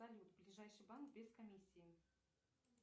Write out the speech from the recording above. салют ближайший банк без комиссии